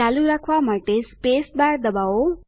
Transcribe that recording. ચાલુ રાખવા માટે સ્પેસબાર દબાવો